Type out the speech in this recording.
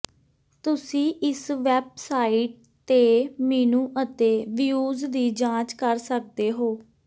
ਤੁਸੀਂ ਇਸ ਵੈਬਸਾਈਟ ਤੇ ਮੀਨੂ ਅਤੇ ਵਿਯੂਜ਼ ਦੀ ਜਾਂਚ ਕਰ ਸਕਦੇ ਹੋ